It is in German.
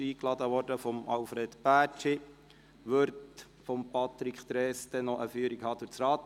Sie wurde von Alfred Bärtschi eingeladen und wird von Patrick Trees noch eine Führung durch das Rathaus erhalten.